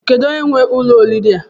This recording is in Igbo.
Kedụ onye nwe ụlọ oriri a?